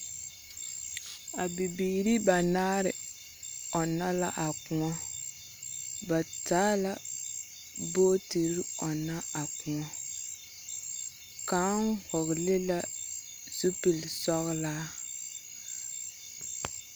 A bibiiri banaare ͻnnͻ la a kõͻ. Ba taa la bootiri a ͻnnͻ a kõͻ. Kaŋ vͻgele la zupili sͻgelaa.